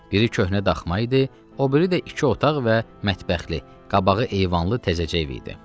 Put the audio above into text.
Biri köhnə daxma idi, o biri də iki otaq və mətbəxli, qabağı eyvanlı təzəcə ev idi.